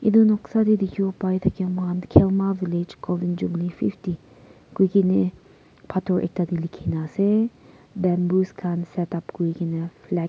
etu noksa teh dikhibo pai thake moikhan khelama village golden jubilee fifty koi ki ni pathor ekta teh likhi na ase bamboos khan setup kuri ke na flag --